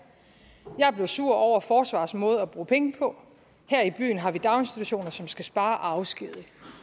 jeg blev sur over forsvarets måde at bruge penge på her i byen har vi daginstitutioner som skal spare og afskedige